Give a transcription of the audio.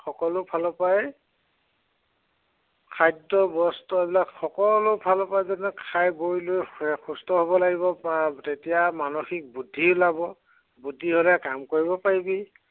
সকলো ফালৰ পৰাই খাদ্য় বস্ত্ৰ এইবিলাক সকলো ফালৰ পৰাই যাতে খাই বৈ লৈ সুস্থ হব লাগিব। আহ তেতিয়া মানসিক বুদ্ধি ওলাব। বুদ্ধি হলে কাম কৰিব পাৰিবি।